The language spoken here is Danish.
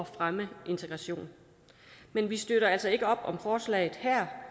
fremme integration men vi støtter altså ikke op om forslaget her